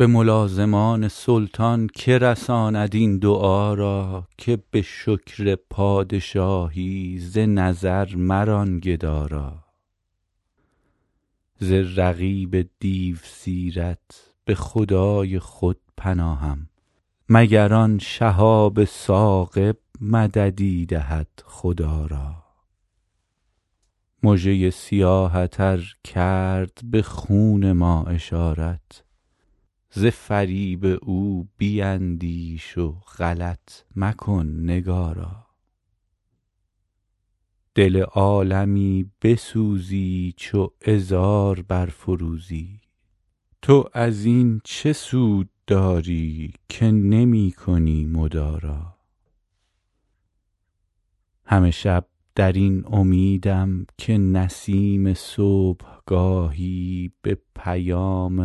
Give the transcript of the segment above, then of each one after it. به ملازمان سلطان که رساند این دعا را که به شکر پادشاهی ز نظر مران گدا را ز رقیب دیوسیرت به خدای خود پناهم مگر آن شهاب ثاقب مددی دهد خدا را مژه ی سیاهت ار کرد به خون ما اشارت ز فریب او بیندیش و غلط مکن نگارا دل عالمی بسوزی چو عذار برفروزی تو از این چه سود داری که نمی کنی مدارا همه شب در این امیدم که نسیم صبحگاهی به پیام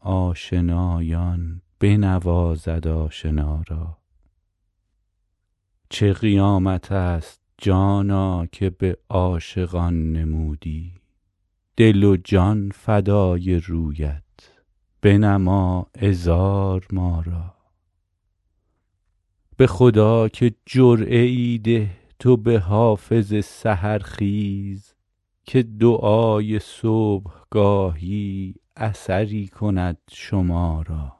آشنایان بنوازد آشنا را چه قیامت است جانا که به عاشقان نمودی دل و جان فدای رویت بنما عذار ما را به خدا که جرعه ای ده تو به حافظ سحرخیز که دعای صبحگاهی اثری کند شما را